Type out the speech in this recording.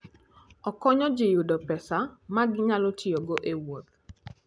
Okonyo ji yudo pesa ma ginyalo tiyogo e wuoth.